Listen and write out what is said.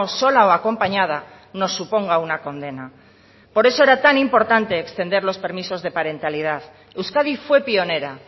sola o acompañada nos suponga una condena por eso era tan importante extender los permisos de parentalidad euskadi fue pionera